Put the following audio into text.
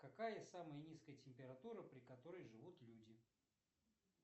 какая самая низкая температура при которой живут люди